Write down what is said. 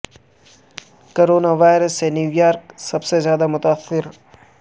corona virus سے New York سب سے زیادہ متاثر